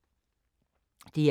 DR2